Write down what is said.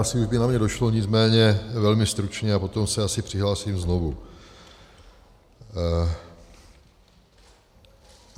Asi už by na mě došlo, nicméně velmi stručně, a potom se asi přihlásím znovu.